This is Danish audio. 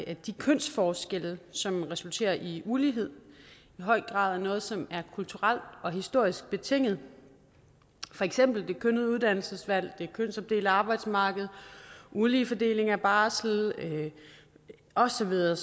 at de kønsforskelle som resulterer i ulighed i høj grad er noget som er kulturelt og historisk betinget for eksempel det kønnede uddannelsesvalg det kønsopdelte arbejdsmarked ulige fordeling af barsel og så videre